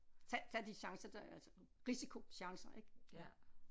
Tag tag de chancer der altså risiko chancer ik